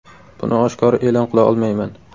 Buni oshkora e’lon qila olmayman.